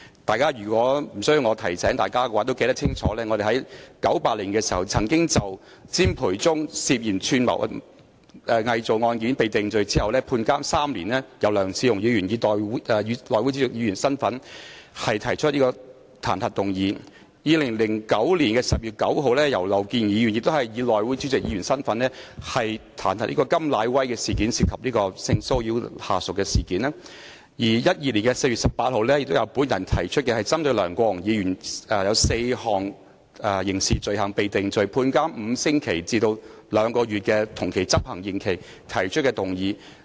大家無須我提醒，也會清楚記得在1998年當詹培忠涉嫌串謀偽造一案罪成被判監3年後，由前議員梁智鴻以內會主席身份提出彈劾議案；在2009年10月9日，前議員劉健儀亦以內會主席身份，就甘乃威涉嫌性騷擾下屬的事件提出彈劾議案，以及在2012年4月18日，我亦曾提出針對梁國雄議員因4項刑事罪行罪成而被判處5星期至兩個月同期執行的刑期而提出的彈劾議案。